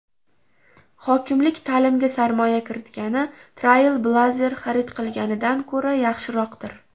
Hokimlik ta’limga sarmoya kiritgani Trailblazer xarid qilganidan ko‘ra yaxshiroqdir.